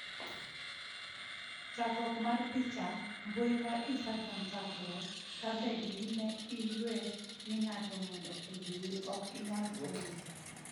Chakruok mar picha, mbui mar instragram chackruok, ka bed ni ne iyue ni ng'ato mondo oluwi, ok inyal gole.